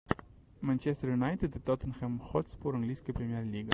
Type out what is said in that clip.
манчестер юнайтед и тоттенхэм хотспур английская премьер лига